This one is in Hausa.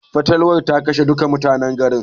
Fatalwar ta kashe duka mutanen garin.